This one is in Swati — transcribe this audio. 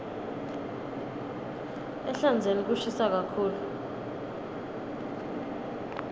ehlandzeni kushisa kakhulu